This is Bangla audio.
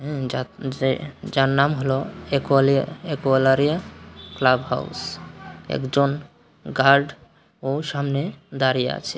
হুম যার নাম হল অ্যাকোয়ালিয়া-অ্যাকোয়ালারিয়া ক্লাব হাউস একজন গার্ড ও সামনে দাঁড়িয়ে আছে।